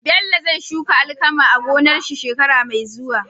Bello zai shuka alkama a gonar shi shekara me zuwa